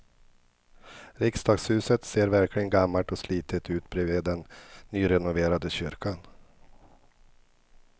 Riksdagshuset ser verkligen gammalt och slitet ut bredvid den nyrenoverade kyrkan.